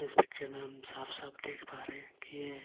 इस पिक्चर में हम साफ-साफ देख पा रहे हैं कि ये.